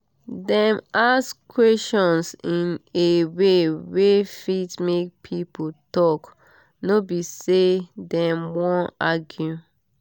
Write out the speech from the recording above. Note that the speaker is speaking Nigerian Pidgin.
dem ask questions in a way wey fit make people talk no be say dem wan argue